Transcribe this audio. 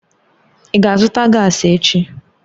Ị ga-azụta gaasi echi?